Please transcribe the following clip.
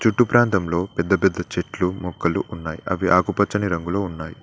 చుట్టూ ప్రాంతంలో పెద్ద పెద్ద చెట్లు మొక్కలు ఉన్నాయి అవి ఆకుపచ్చని రంగులో ఉన్నాయి.